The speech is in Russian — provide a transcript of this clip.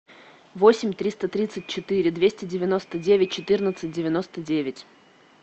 восемь триста тридцать четыре двести девяносто девять четырнадцать девяносто девять